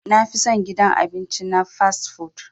Na fi son gidan abinci na "fast-food".